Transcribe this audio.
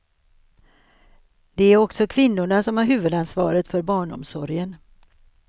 Det är också kvinnorna som har huvudansvaret för barnomsorgen.